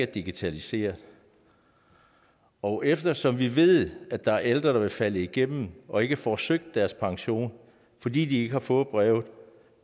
digitaliseret og eftersom vi ved at der er ældre der vil falde igennem og ikke får søgt deres pension fordi de ikke har fået brevet